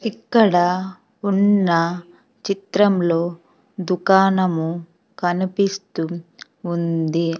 ఇక్కడా ఉన్న చిత్రంలో దుకాణము కనిపిస్తు ఉంది.